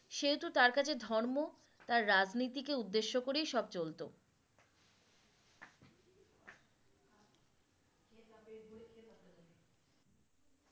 সেহেতু তার কাছে ধর্ম তার রাজনীতিকে উদ্দেশ্য করেই সব চলতো